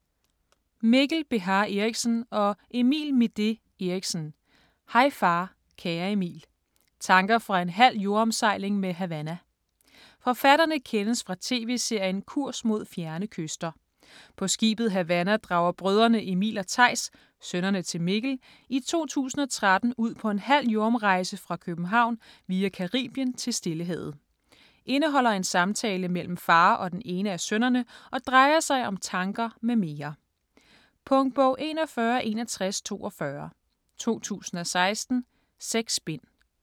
Beha Erichsen, Mikkel og Midé Erichsen, Emil: Hej far kære Emil: tanker fra en halv jordomsejling med Havana Forfatterne kendes fra tv-serien "Kurs Mod Fjerne Kyster". På skibet Havanna drager brødrene Emil og Theis, sønnerne til Mikkel, i 2013 ud på en halv jordomrejse fra København via Caribien til Stillehavet. Indeholder en samtale mellem far og den ene af sønnerne, og drejer sig om tanker m.m. Punktbog 416142 2016. 6 bind.